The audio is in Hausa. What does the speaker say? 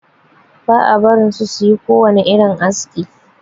Ba a barin su yi kowani irin haski.